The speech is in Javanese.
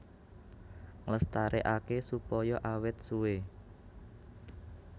Nglestarékaké supaya awét suwé